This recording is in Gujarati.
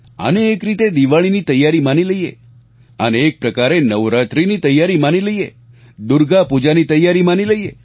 આને એક રીતે દિવાળીની તૈયારી માની લઈએ આને એક પ્રકારે નવરાત્રીની તૈયારી માની લઈએ દુર્ગા પૂજાની તૈયારી માની લઈએ